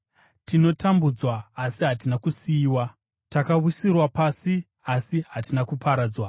tinotambudzwa, asi hatina kusiyiwa; takawisirwa pasi, asi hatina kuparadzwa.